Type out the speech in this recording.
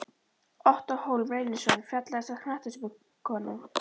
Ottó Hólm Reynisson Fallegasta knattspyrnukonan?